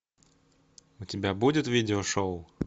у тебя будет видео шоу